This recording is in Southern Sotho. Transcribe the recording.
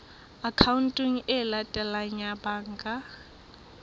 akhaonteng e latelang ya banka